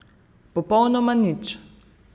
Popolnoma nič.